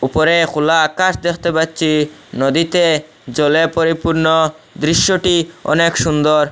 উপরে খোলা আকাশ দেখতে পাচ্ছি নদীতে জলে পরিপূর্ণ দৃশ্যটি অনেক সুন্দর।